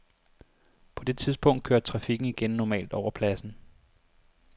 På det tidspunkt kørte trafikken igen normalt over pladsen.